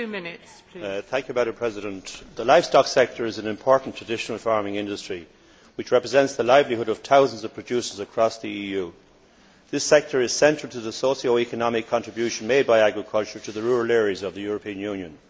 Madam President, the livestock sector is an important traditional farming industry which represents the livelihood of thousands of producers across the EU. This sector is central to the socio economic contribution made by agriculture to the rural areas of the European Union.